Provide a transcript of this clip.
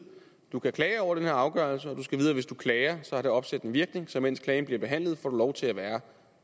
du kan klage over den her afgørelse og du skal vide at hvis du klager har det opsættende virkning så mens klagen bliver behandlet får du lov til at være